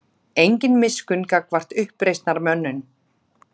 Engin miskunn gagnvart uppreisnarmönnum